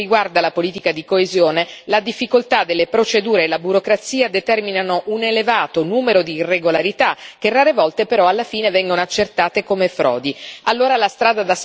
In particolare per quel che riguarda la politica di coesione la difficoltà delle procedure e la burocrazia determinano un elevato numero di irregolarità, che rare volte però alla fine vengono accertate come frodi.